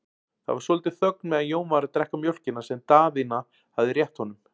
Það var svolítil þögn meðan Jón var að drekka mjólkina sem Daðína hafði rétt honum.